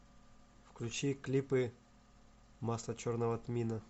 включи клипы масло черного тмина